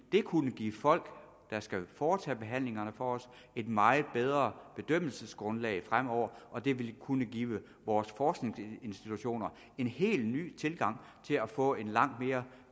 det kunne give de folk der skal foretage behandlingerne for os et meget bedre bedømmelsesgrundlag fremover og det ville kunne give vores forskningsinstitutioner en helt ny tilgang til at få en langt mere